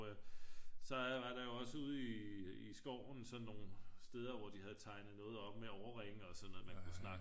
Så var der jo også ude i skoven sådan nogle steder hvor de havde tegnet noget op med årringe og sådan noget man kunne snakke